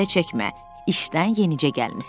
İşdən yenicə gəlmisən.